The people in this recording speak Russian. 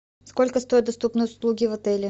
сколько стоят доступные услуги в отеле